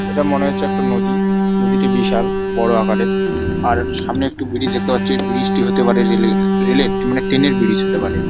এটা মনে হচ্ছে একটা নদী নদীটি বিশাল বড় আকারের আর সামনে একটি ব্রিজ দেখতে পাচ্ছি ব্রিজ টি হতে পারে রেল এর রেল এর মানে ট্রেন এর ব্রিজ হতে পারে।